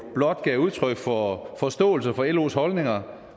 blot gav udtryk for forståelse for los holdninger